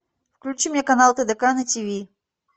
включи мне канал тдк на тиви